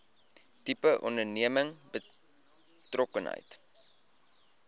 tipe onderneming betrokkenheid